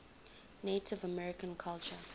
native american culture